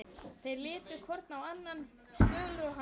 Þeir litu hvor á annan, Skjöldur og hann.